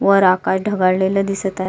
वर आकाश ढगाळलेल दिसत आहे.